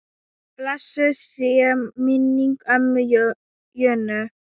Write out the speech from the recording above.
Blessuð sé minning ömmu Jönu.